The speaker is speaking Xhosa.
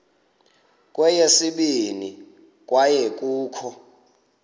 kweyesibini kwaye kukho